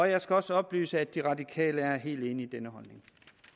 jeg skal også oplyse at de radikale er helt enige i denne holdning